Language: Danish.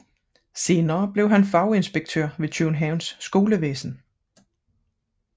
Senere blev han faginspektør ved Københavns Skolevæsen